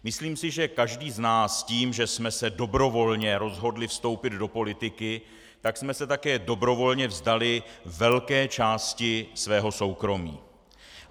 Myslím si, že každý z nás tím, že jsme se dobrovolně rozhodli vstoupit do politiky, tak jsme se také dobrovolně vzdali velké části svého soukromí.